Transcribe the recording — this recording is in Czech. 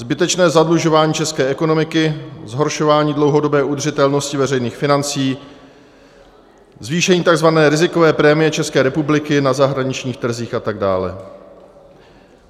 Zbytečné zadlužování české ekonomiky, zhoršování dlouhodobé udržitelnosti veřejných financí, zvýšení tzv. rizikové prémie České republiky na zahraničních trzích atd.